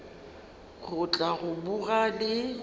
go tla go boga le